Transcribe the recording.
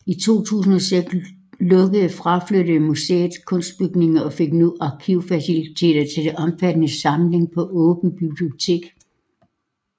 I 2006 lukkede fraflyttede museet kunstbygningen og fik nu arkivfaciliteter til den omfattende samling på Åby Bibliotek